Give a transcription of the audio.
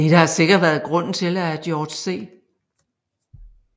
Dette har sikkert været grunden til at George C